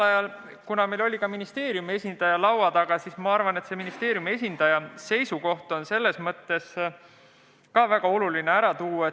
Aga meil oli ka ministeeriumi esindaja laua taga ja ma arvan, et ministeeriumi esindaja seisukoht on väga oluline ära tuua.